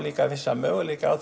vissa möguleika á